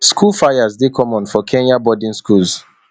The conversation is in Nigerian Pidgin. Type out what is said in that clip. school fires dey common for kenyan boarding schools